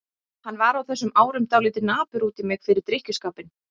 Hann var á þessum árum dálítið napur út í mig fyrir drykkjuskapinn.